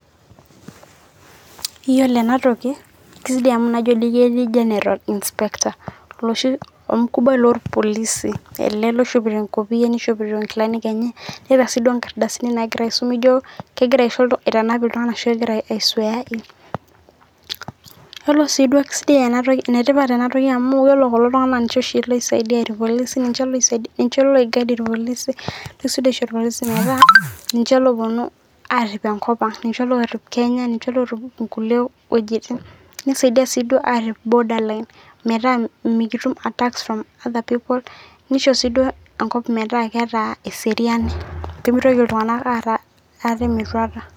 Iyolo ana toki kayeu si nanu najo eji General inspector loshi olmkubwai loolpolisi ale oishopito enkopia neishopito inkalanik enye, iyolo sii duo nkardasini nagira aisum nijoo kegira aitanap ltungana ashuu aisweain, iyolo sii duo kesidai enatoki enetipat enatoki amuu iyolo kulo tungana naa ninche oshii loisaidia ilpolisi ninche loidaid lpolisi, keisudoo oshi lpolisi metaa ninche looponu aarip enkopang, ninche loorip [cd] kenya ninche loorip nkule wejitin, neisaidia sii duo naarip border line metaa mikitum attacks from other people neishoo sii enkop metaa keeta eseriani pemeitoki ltungana aarra ate metuata.